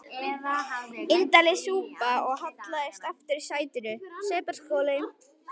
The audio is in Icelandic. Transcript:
Indælis súpa og hallaðist aftur í sætinu.